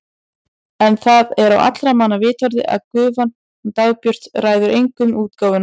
En það er á allra manna vitorði að gufan hún Dagbjört ræður engu um útgáfuna.